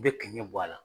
I bɛ kingɛ bɔ a la